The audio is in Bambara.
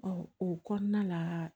o kɔnɔna la